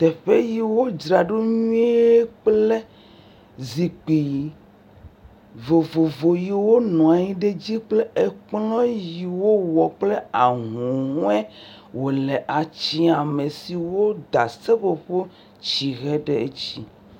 Teƒe yiwo dzraɖo nyui kple zikpui vovovo yiwo nɔ anyi ɖe dzi kple eƒe kplɔ yiwo wɔ kple ahuhɔe wole tsyama siwo da seƒoƒotihe ɖe dzi